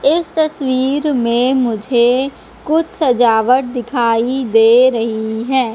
इस तस्वीर में मुझे कुछ सजावट दिखाई दे रही है।